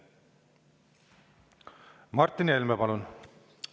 Martin Helme, palun!